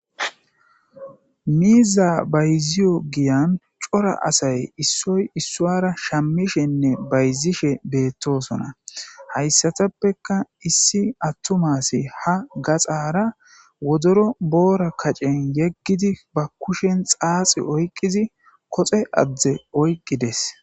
Miizzaa bayziyo giyan cora asay issoy issuwaara shammishenne bayzzishe beeththoosona;hayssathappekka issi aththuma asi ha gaxaara wodoro boora kacen yeggidi ba kushen xaaxi oyqqidi koxe adde oyqqi des.